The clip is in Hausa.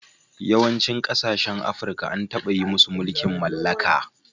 Yawancin kasashen Afirka an taba yi musu mulkin mallaka.